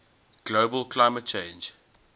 global climate change